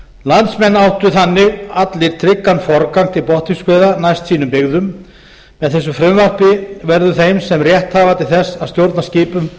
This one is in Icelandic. landsmenn áttu þannig allir tryggan forgang til botnfiskveiða næst sínum byggðum með þessu frumvarpi verður þeim sem rétt hafa til þess að stjórna skipum